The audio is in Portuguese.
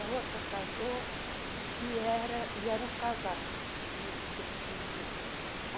A outra casou e era eram casados, tinham seus filhos lá.